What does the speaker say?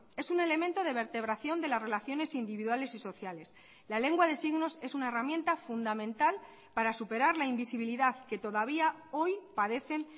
es un elemento de vertebración de las relaciones individuales y sociales la lengua de signos es una herramienta fundamental para superar la invisibilidad que todavía hoy padecen